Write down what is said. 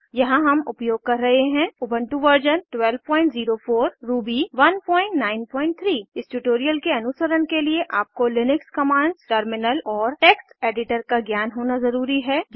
यहाँ हम उपयोग कर रहे हैं उबन्टु वर्जन 1204 रूबी 193 इस ट्यूटोरियल के अनुसरण के लिए आपको लिनक्स कमांड्स टर्मिनल और टेक्स्ट एडिटर का ज्ञान होना ज़रूरी है